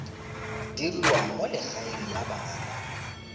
diriwang mo legaeng la bana